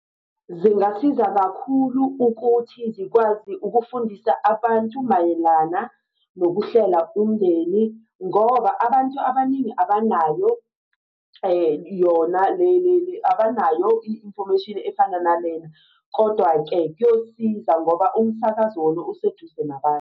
Zingasiza kakhulu ukuthi zikwazi ukufundisa abantu mayelana nokuhlela umndeni ngoba abantu abaningi abanayo yona abanayo i-information efana nalena. Kodwa-ke kuyosiza ngoba umsakazo wona useduze nabantu.